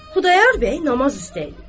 Xudayar bəy namaz üstəydi.